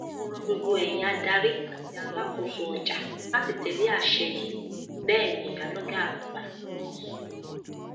mo ro gbogbo ẹyin adarí àti alákòóso ọjà láti tẹlé àṣẹ yìí bẹẹ ni ìyálọgà àgbà náà sọ